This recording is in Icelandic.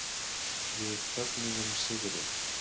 Við fögnuðum sigri.